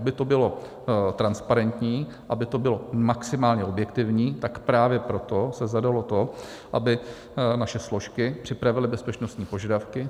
Aby to bylo transparentní, aby to bylo maximálně objektivní, tak právě proto se zadalo to, aby naše složky připravily bezpečnostní požadavky.